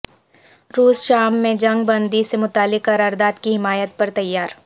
روس شام میں جنگ بندی سے متعلق قرارداد کی حمایت پر تیار